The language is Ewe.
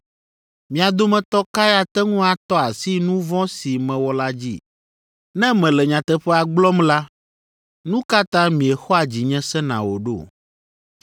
Mia dometɔ kae ate ŋu atɔ asi nu vɔ̃ si mewɔ la dzi? Ne mele nyateƒea gblɔm la, nu ka ta miexɔa dzinye sena o ɖo?